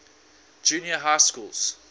junior high schools